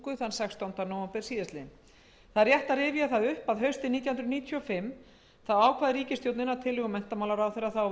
það upp að haustið nítján hundruð níutíu og fimm ákvað ríkisstjórnin að tillögu menntamálaráðherra